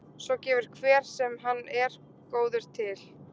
Svo gefur hver sem hann er góður til.